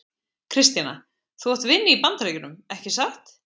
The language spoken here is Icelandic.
Kristjana: Þú átt vini í Bandaríkjunum, ekki satt?